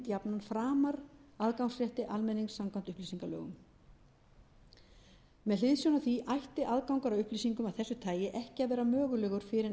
jafnan framar aðgangsrétti almennings samkvæmt upplýsingalögum með hliðsjón af því ætti aðgangur að upplýsingum af þessu tagi ekki að vera mögulegur fyrr en eftir þrjátíu eða